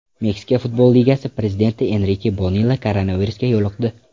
Meksika futbol ligasi prezidenti Enrike Bonilla koronavirusga yo‘liqdi.